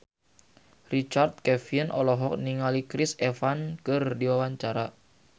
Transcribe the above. Richard Kevin olohok ningali Chris Evans keur diwawancara